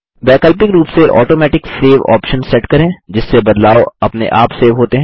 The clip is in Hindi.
वैकल्पिक रूप से ऑटोमेटिक सेव आप्शन सेट करें जिससे बदलाव अपने आप सेव होते हैं